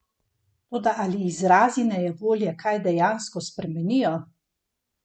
Toda ali izrazi nejevolje kaj dejansko spremenijo?